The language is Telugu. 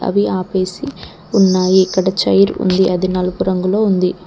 అవి ఆపేసి ఉన్నాయి ఇక్కడ చైర్ ఉంది అది నలుపు రంగులో ఉంది.